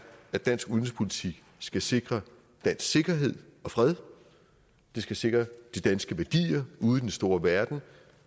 at dansk udenrigspolitik skal sikre dansk sikkerhed og fred skal sikre de danske værdier ude i den store verden